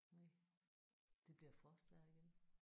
Næ. Det bliver frostvejr igen